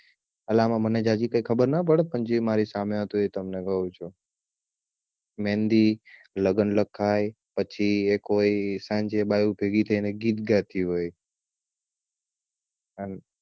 અલા આમાં મને આમાં જાજી કઈ ખબર ના પડે પણ જે મારી સામે હતું ઈ તમને કઉ છુ મેહંદી લગ્ન લખાય પછી એક હોય સાંજે બાયો ભેગી થઈને ગીત ગાતી હોય એમ